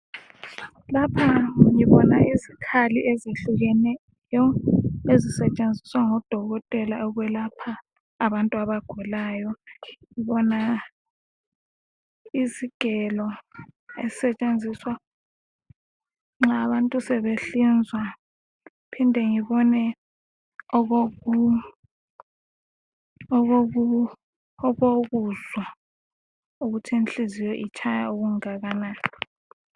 Lapha ngibona izikhali ezehlukeneyo ezisetshenziswa ngodokotela ukwelapha abantu abagulayo, ngibona izigelo, ezisetshenziswa nxa abantu sebehlinzwa, ngiphinde ngibone okokuzwa ukuthi inhliziyo itshaya okungakanani.